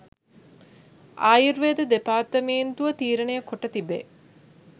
ආයුර්වේද දෙපාර්තමේන්තුව තීරණය කොට තිබේ